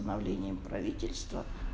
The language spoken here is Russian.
обновлением правительства